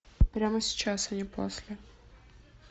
прямо сейчас а не после